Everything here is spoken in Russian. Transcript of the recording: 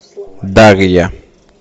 дарья